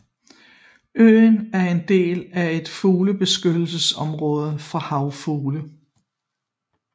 Øen er en del af et fuglebeskyttelsesområde for havfugle